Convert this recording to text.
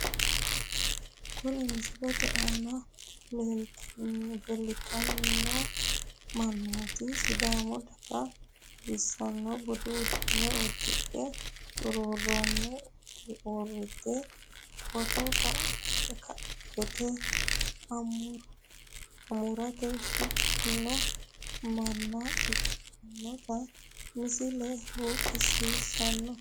Kuri misilete aana leeltanmo mannooti sidaamu daga xawissanno budu uddano uddidhe xuruurrunni uurrite footo ka'ate amuraatira shiqqino manna ikkitinota misile buuxissanno.